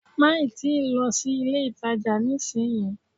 Má ì tíì lọ sí ilé-ìtàjà nísìnyí